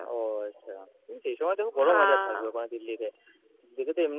ও আচ্ছা সেই সময় তো খুব গরম weather থাকবে ওখানে দিল্লিতে। দিল্লি তো এমনিই